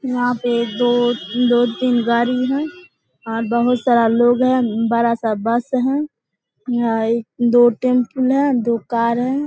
यहाँ पे दो दो-तीन गाड़ी है और बहुत सारा लोग है बड़ा सा बस है यहाँ दो टेम्पूल है दो कार है।